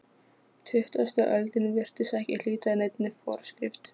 Tuttugasta öldin virtist ekki hlíta neinni forskrift.